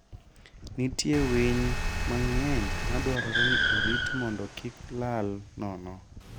Nitie winy mang'eny madwarore ni orit mondo kik lal nono.